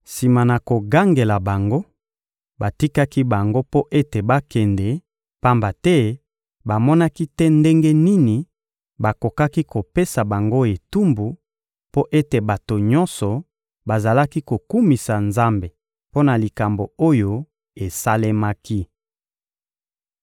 Sima na kogangela bango, batikaki bango mpo ete bakende, pamba te bamonaki te ndenge nini bakokaki kopesa bango etumbu, mpo ete bato nyonso bazalaki kokumisa Nzambe mpo na likambo oyo esalemaki.